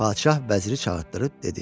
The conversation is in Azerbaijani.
Padşah vəziri çağırtdırıb dedi: